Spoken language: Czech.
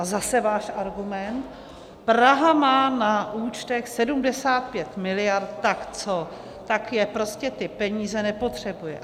A zase váš argument: Praha má na účtech 75 miliard, tak co, tak je prostě, ty peníze, nepotřebuje.